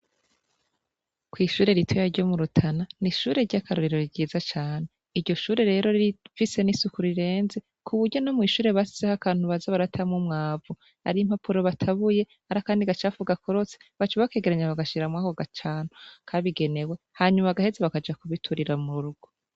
Kw'ishure ritoya ryo mu rutana n'ishure ry'akarorero ryiza cane iryo shure rero rifise n'isuku rirenze kuburyo no mw'ishure bashizeho akantu baza baratamwo umwavu ar'impapuro batabuye arakandi gacafu gakorotse baca bakegeranya bagashira murako gacanko kabigenewe hanyuma bagaheza bakaja kubiturira mu rugo.